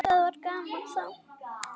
Það var gaman þá.